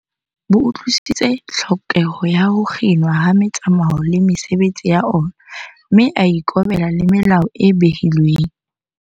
Borwa bo utlwi-sisitse tlhokeho ya ho kginwa ha metsamao le mesebetsi ya ona, mme a ikobela le melao e behilweng.